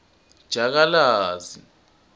jakalazi